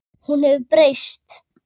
Hún hefur breyst.